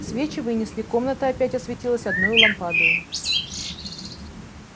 свечи вынесли комната опять осветилась одною лампадою